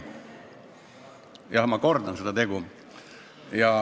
Jah, ma kordan seda tegu.